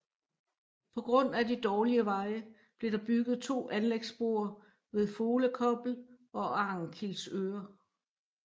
På grund af de dårlige veje blev der bygget to anlægsbroer ved Folekobbel og Arnkilsøre